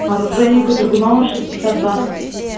оружейника драгунова шестьдесят два